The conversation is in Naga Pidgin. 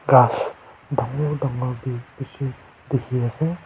gass dagur dagur bhi bisi dekhi ase.